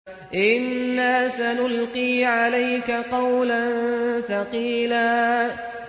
إِنَّا سَنُلْقِي عَلَيْكَ قَوْلًا ثَقِيلًا